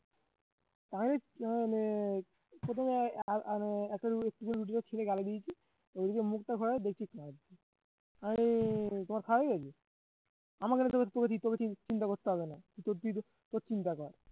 প্রথমে গালি দিয়েছি দেখিস না আর অরে তোমার file আমাকে নিয়ে তোকে চিন্তা করতে হবে না তোর তোর চিন্তা কর